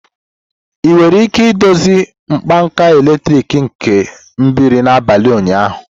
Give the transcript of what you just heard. Ị nwere ike idozi mkpanaka eletrik nke mebiri n'abalị ụnyaahụ?